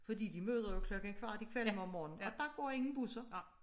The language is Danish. Fordi de møder jo klokken kvart i 5 om morgenen og der går ingen busser